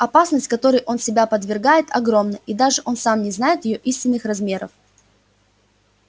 опасность которой он себя подвергает огромна и даже он сам не знает её истинных размеров